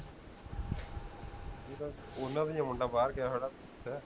ਇਹ ਤਾਂ ਓਹਨਾ ਦਾ ਹੀ ਹੈ ਮੁੰਡਾ ਬਾਹਰ ਗਿਆ ਹੋਇਆ ਨਾ